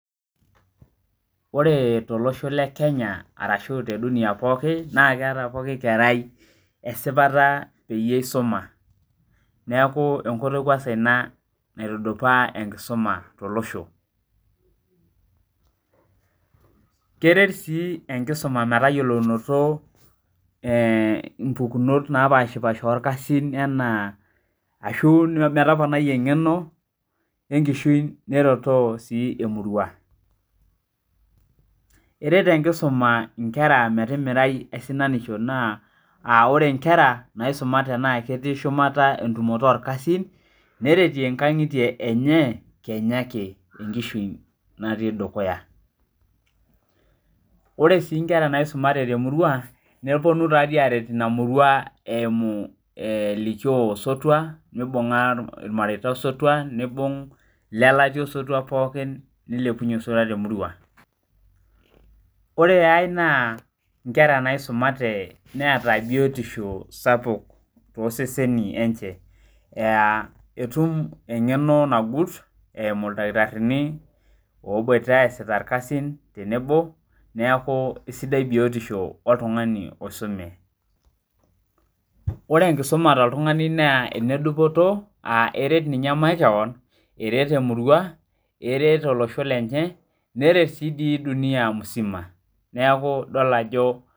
Oree tolosho le Kenya arashu teduniya pookin naa ketaa pooki kerai esipata peyie eisuma neeku enkoitoi kwansa inaa naitudupaa enkisuma tolosho , kereet sii enkisuma metayiolounoto inpukunot napaashpasha olkasin enaa arashu metoponai engeno enkishui neretoo sii emurua eret enkisuma inkera metimirai aisinanisho naa aore inkera naisumate naa ketii shumata tentumoto olkasin neretie inkangitie enye kenya ake tenkishui natii dukuya ore sii inkera naisumate temurua neponu taa dii aaret ina murua eimu elikio osotua meibunga ilmareta osotua neibung ilelatia osotua pookin neilepunye osotua temurua ore aii naa inkera naisumate neeta biyotisho sapuuk tooseseni lenche aa etum engeno nagut eimu ildakitarini oboita eesiita ilkasin tenebo neeku sidai biyotisho oltungani oisume , ore enkisuma toltungani naa ene dupoto aa eret ninyee makeon eret emurua eret olosho lenye neret si dii dunia musima.